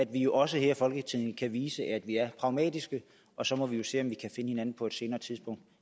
vi jo også her i folketinget vise at vi er pragmatiske og så må vi se om vi kan finde hinanden på et senere tidspunkt